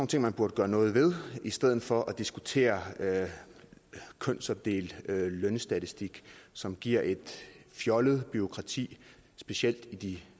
ting man burde gøre noget ved i stedet for at diskutere kønsopdelt lønstatistik som giver et fjollet bureaukrati specielt i de